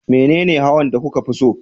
Menene hawan da kuka fi so?